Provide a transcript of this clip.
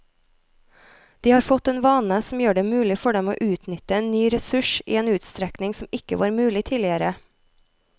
De har fått en vane som gjør det mulig for dem å utnytte en ny ressurs i en utstrekning som ikke var mulig tidligere.